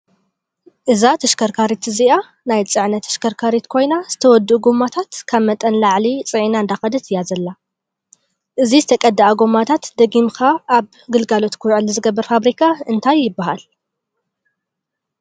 እዛ ተሽከርካሪት እዚኣያ ናይ ፅዕነት ተሽከርካሪት ኮይና ዝተወዱኡ ጎመታት ካብ መጠን ንላዕሊ ፂዒና እንዳከደት እያ ዘላ። እዚ ዝተቀደኣ ጎማታት ደጊምካ ኣብ ግልጋሎት ክውዕል ዝገብር ፋብሪካ እንታይ ይበሃል ?